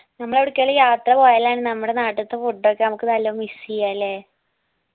നമ്മളെവിടെക്കെങ്കിലും യാത്ര പോയാലാണ് നമ്മടെ നാട്ടിത്തെ food ഒക്കെ നമ്മക്ക് നല്ലോ miss എയ്യുവ അല്ലെ